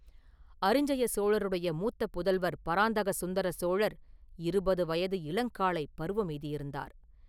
அரிஞ்சய சோழருடைய மூத்த புதல்வர் பராந்தக சுந்தர சோழர் இருபது வயது இளங் காளைப் பருவம் எய்தியிருந்தார்.